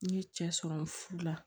N ye cɛ sɔrɔ n ka furu la